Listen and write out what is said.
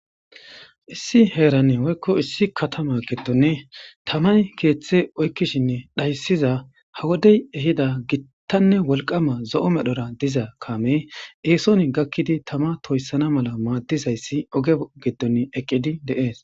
Issi heerani woyko issi katama gidoni tamay keethe oykishine dhaysiya ha wode ehida hitane wolqama gita zo'o medhora diza kaame eesoni gakidi tama toysana mala oothizaysi oge bola gidon eqidi de'es.